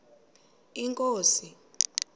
inkosi